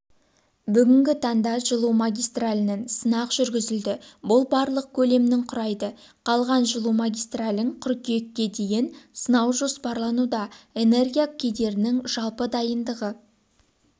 бүгінгі таңда жылу магистралінің сынақ жүргізілді бұл барлық көлемнің құрайды қалған жылу магистралін қыркүйекке дейін сынау жоспарлануда энергия көдерінің жалпы дайындығы